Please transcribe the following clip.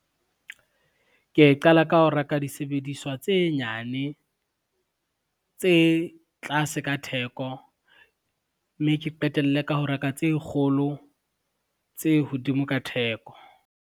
Ke qala ka ho reka disebediswa tse nyane, tse tlase ka theko mme ke qetelle ka ho reka tse kgolo tse hodimo ka theko.